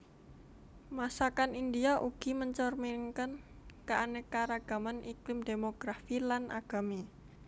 Masakan India ugi mencerminkan keanekaragaman iklim demografi lan agami